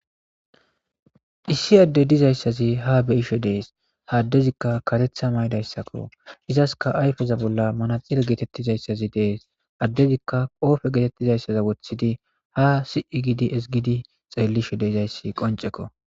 issi adde dizayssazi ha beisho dees haaddezikka karetha maydayssakko izaska ayfeza bolla manaxire geetettizayssazi dees addezikka qoofe geetettizayssaza woththidi ha si7i gidi isgidi xeellisho deizayssi qonceko